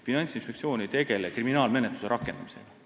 Finantsinspektsioon ei tegele kriminaalmenetluse rakendamisega.